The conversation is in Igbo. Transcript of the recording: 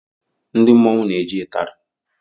Ndị mmọnwu n'eji itari.